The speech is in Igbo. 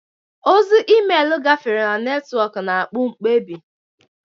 Ozi emeelu gafere na netwọkụ, na-akpụ mkpebi.